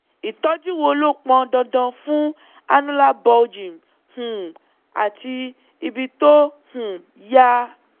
ìtọ́jú wo ló pọn dandan fún annular bulging um àti ibi tó um ya?